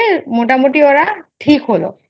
মোটামোটি ওরা ঠিক হলো।